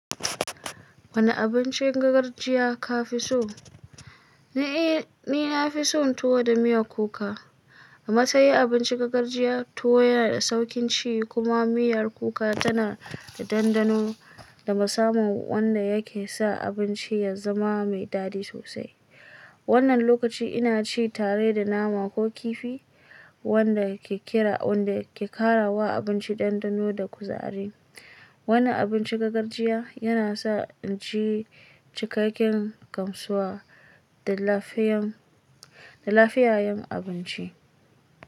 Wane abincin gargajiya ka fi so? Ni na fi son tuwo da miyar kuka. A matsayin abincin gargajiya, tuwo yana da sauƙin ci kuma miyar kuka tana da ɗanɗano da musamman wanda yake sa abincin ya zama mai daɗi sosai. Wannan lokaci ina ci tare da nama ko kifi, wanda ke ƙira wanda ke kara wa abinci ɗanɗano da kuzari. Wannan abincin gargajiya yana sa in ji cikakken gamsuwa da lafiyayen abinci.